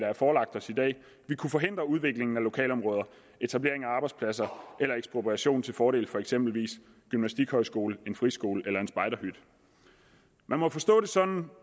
er forelagt os i dag vil kunne forhindre udviklingen af lokalområder etablering af arbejdspladser eller ekspropriation til fordel for eksempelvis en gymnastikhøjskole en friskole eller en spejderhytte man må forstå det sådan